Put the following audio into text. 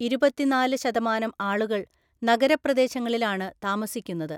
ഇരുപത്തിനാല് ശതമാനം ആളുകൾ നഗരപ്രദേശങ്ങളിലാണ് താമസിക്കുന്നത്.